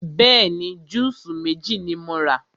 Bẹ́ẹ̀ni, júùsí méjì ni mo rà.